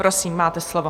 Prosím, máte slovo.